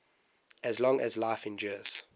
as long as life endures